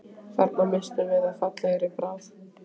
Þarna misstum við af fallegri bráð